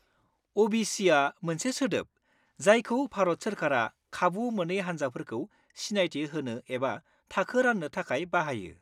अ.बि.सिआ मोनसे सोदोब जायखौ भारत सोरखारा खाबु मोनै हान्जाफोरखौ सिनायथि होनो एबा थाखो राननो थाखाय बाहायो।